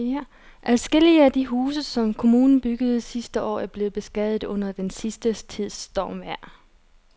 Adskillige af de huse, som kommunen byggede sidste år, er blevet beskadiget under den sidste tids stormvejr.